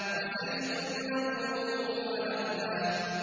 وَزَيْتُونًا وَنَخْلًا